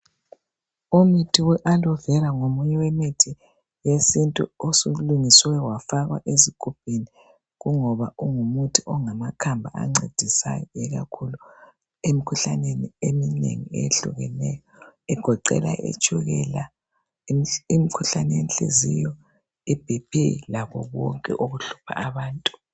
Umuthi we alovera ngomunye wemithi wesintu osulungiswe wafakwa ezigubhini kungoba ungumuthi ongamakhamba ancedisayo kakhulu emikhuhlaneni eminengi kakhulu egoqela itshukela, imkhuhlane yenhliziyo, iBP lakho konke okuhlupha abantu.